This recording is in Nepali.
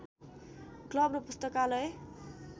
क्लव र पुस्तकालय